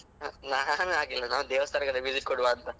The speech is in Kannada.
ನಾನ್ ಹಾಗೆಲ್ಲ ದೇವಸ್ಥಾನಕೆಲ್ಲ visit ಕೊಡ್ವ ಅಂತ.